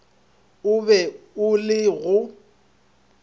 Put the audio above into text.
o be o le go